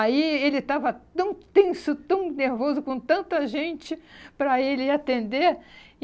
Aí ele estava tão tenso, tão nervoso, com tanta gente para ele ir atender.